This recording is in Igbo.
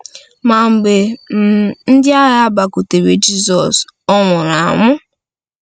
Ma mgbe um ndị agha bịakwutere Jizọs, Ọ nwụrụ anwụ.